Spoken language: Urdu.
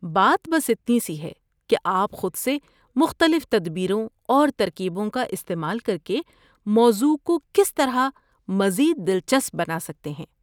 بات بس اتنی سی ہے کہ آپ خود سے مختلف تدبیروں اور ترکیبوں کا استعمال کر کے موضوع کو کس طرح مزید دلچسپ بنا سکتے ہیں۔